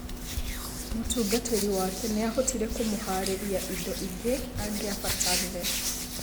Mũtungatĩri wake nĩahotire kũmũharĩria indo ingĩ angiabatarire.